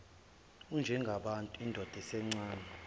unjengabantu indoda esencane